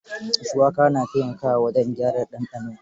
Shuwaka na taimakawa wajen gyara ɗanɗano.